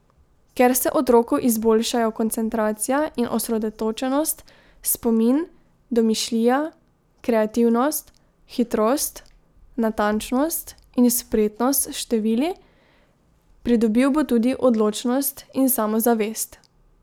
Ker se otroku izboljšajo koncentracija in osredotočenost, spomin, domišljija, kreativnost, hitrost, natančnost in spretnost s števili, pridobil bo tudi odločnost in samozavest.